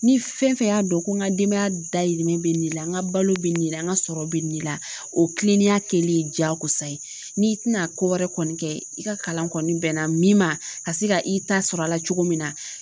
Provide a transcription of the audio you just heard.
Ni fɛn fɛn y'a dɔn ko n ka denbaya dahirimɛ bɛ nin la n ka balo bɛ nin de la n ka sɔrɔ bɛ nin la o kilennenya kɛlen diyakosa ye n'i tɛna ko wɛrɛ kɔni kɛ i ka kalan kɔni bɛnna min ma ka se ka i ta sɔrɔ a la cogo min na